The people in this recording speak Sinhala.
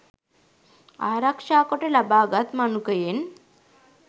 ආරක්ෂා කොට ලබාගත් මනුකයෙන්